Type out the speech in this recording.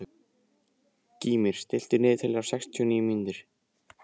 Gýmir, stilltu niðurteljara á sextíu og níu mínútur.